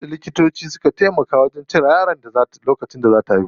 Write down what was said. Sai da likitoci suka taimaka wajen cire yaron lokacin da zaa ta haihu.